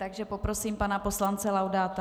Takže poprosím pana poslance Laudáta.